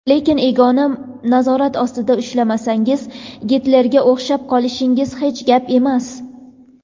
lekin "ego" ni nazorat ostida ushlamasangiz Gitlerga o‘xshab qolishingiz hech gap emas.